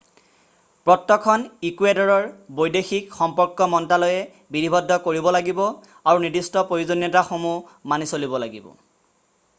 পত্ৰখন ইকুৱেডৰৰ বৈদেশিক সম্পৰ্ক মন্ত্ৰালয়ে বিধিবদ্ধ কৰিব লাগিব আৰু নিৰ্দিষ্ট প্ৰয়োজনীয়তাসমূহ মানি চলিব লাগিব